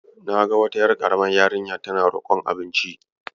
Na ga wata ƴar ƙaramar yarinya tana roƙon abinci.